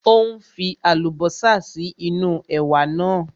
Ó ń fi Àlùbọ́sà sí inú ẹ̀wà náà